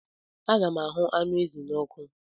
Aga m ahụ anụ ezi ahụ n'ọkụ.